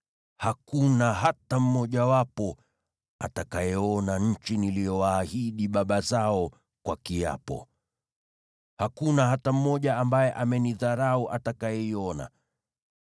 hakuna hata mmoja wao atakayeona nchi niliyowaahidi baba zao kwa kiapo. Hakuna hata mmoja ambaye amenidharau atakayeiona.